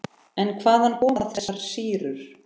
En hvaðan koma þessar sýrur?